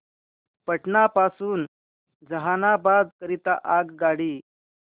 पटना पासून जहानाबाद करीता आगगाडी